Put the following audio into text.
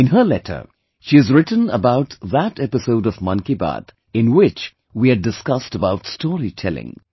In her letter, she has written about that episode of 'Mann Ki Baat', in which we had discussed about story telling